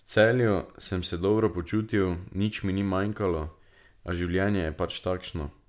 V Celju sem se dobro počutil, nič mi ni manjkalo, a življenje je pač takšno.